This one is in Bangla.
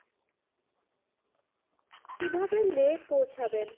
কিভাবে লে পৌঁছাবেন?